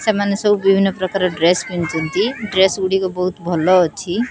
ସେମାନେ ସବୁ ବିଭିନ୍ନ ପ୍ରକାର ଡ୍ରେସ୍ ପିଚନ୍ତି। ଡ୍ରେସ୍ ଗୁଡ଼ିକ ବୋହୁତ୍ ଭଲ ଅଛି।